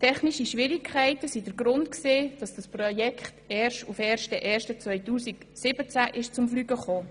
Technische Schwierigkeiten waren der Grund, weshalb dieses Projekt erst per 1. 1. 2017 zum Fliegen kam.